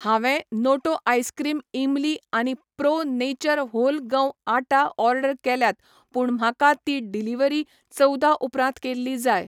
हांवें Noto ice cream इमली आनी प्रो नेचर व्होल गंव आटा ऑर्डर केल्यात पूण म्हाका ती डिलिव्हरी चवदा उपरांत केल्ली जाय.